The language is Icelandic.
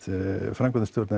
framkvæmdastjórn